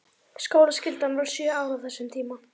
Skólaskyldan var sjö ár á þessum tíma.